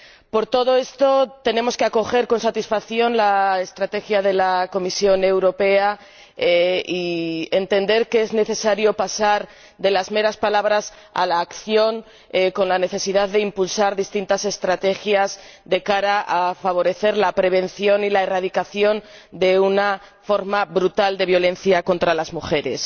Por todo esto, tenemos que acoger con satisfacción la estrategia de la Comisión Europea y entender que es necesario pasar de las meras palabras a la acción, con la necesidad de impulsar distintas estrategias de cara a favorecer la prevención y la erradicación de una forma brutal de violencia contra las mujeres.